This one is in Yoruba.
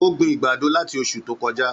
Ó gbin ìgbàdo láti osù tó kojá.